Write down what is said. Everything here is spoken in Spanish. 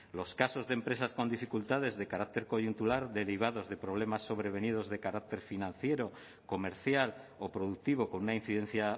los casos de empresas con dificultades de carácter coyuntural derivados de problemas sobrevenidos de carácter financiero comercial o productivo con una incidencia